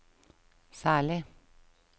særlig